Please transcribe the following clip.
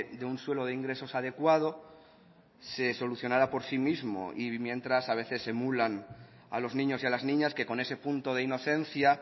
de un suelo de ingresos adecuado se solucionara por sí mismo y mientras a veces se emulan a los niños y a las niñas que con ese punto de inocencia